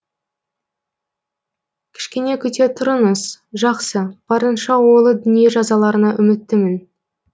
кішкене күте тұрыңыз жақсы барынша ойлы дүние жазыларына үміттімін